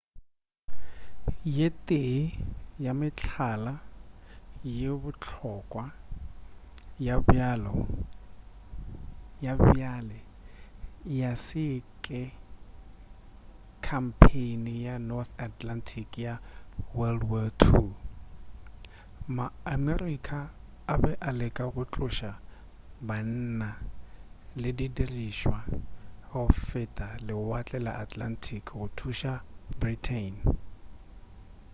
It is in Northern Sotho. ye tee ya mehlala ye bohlokwa ya bjale ya se ke khampheini ya north atlantic ya wwii ma-america a be a leka go tloša banna le didirišwa go feta lewatle la atlantic go thuša britain